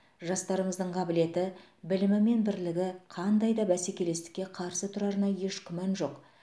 жастарымыздың қабілеті білімі мен бірлігі қандай да бәсекелестікке қарсы тұрарына еш күмән жоқ